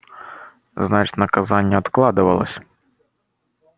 значит наказание откладывалось